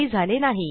काही झाले नाही